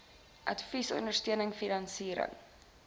advies ondersteuning finansiering